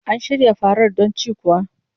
An shirya farar don cin kuwa?